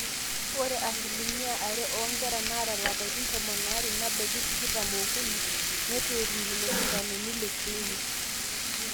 ore asilimia are oonkera naata ilapaitin tomon aare nebaiki tikitam ookuni neitu etum lelo sindanoni le clinic